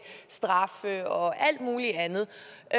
straffe og alt muligt andet